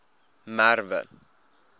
merwe